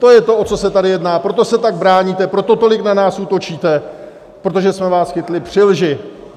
To je to, o co se tady jedná, proto se tak bráníte, proto tolik na nás útočíte, protože jsme vás chytli při lži.